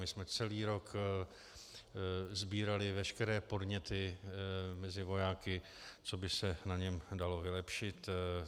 My jsme celý rok sbírali veškeré podněty mezi vojáky, co by se na něm dalo vylepšit.